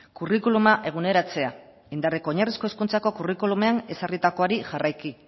curriculuma eguneratzea indarreko oinarrizko hezkuntzako curriculumean ezarritakoari jarraiki